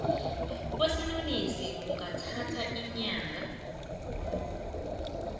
kwesinonisi kungathatha iinyanga